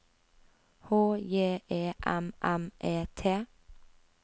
H J E M M E T